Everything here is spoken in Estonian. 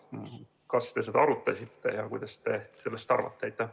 Kas te seda arutasite ja mida te sellest arvate?